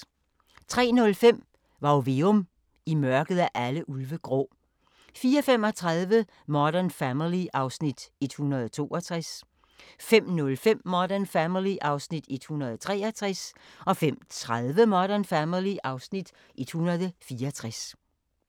03:05: Varg Veum – I mørket er alle ulve grå 04:35: Modern Family (Afs. 162) 05:05: Modern Family (Afs. 163) 05:30: Modern Family (Afs. 164)